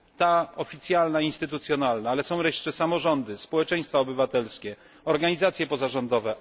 Ta oficjalna instytucjonalna, ale są jeszcze samorządy, społeczeństwa obywatelskie, organizacje pozarządowe.